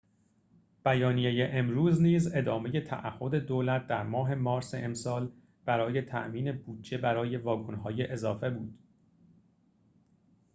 بیانیه امروز نیز ادامه تعهد دولت در ماه مارس امسال برای تأمین بودجه برای واگن‌های اضافه بود